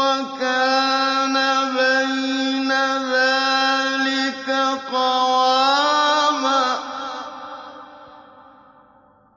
وَكَانَ بَيْنَ ذَٰلِكَ قَوَامًا